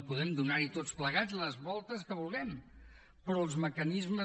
podem donar hi tots plegats les voltes que vulguem però els mecanismes